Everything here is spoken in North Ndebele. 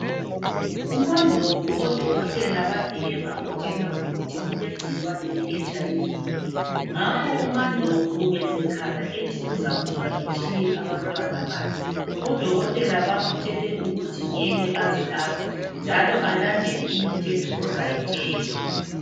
UMandlovu odokothela bafika bamutshela ukuthi ulegcikwane le HIV.Ngakho uMandlovu ubesekhala ethi uzakufa etshiye abantwana bakhe , odokothela bamutshele ukuthi ngeke aze afe. Njalo alandele imithetho ozayitshelwa.